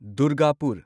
Durgapur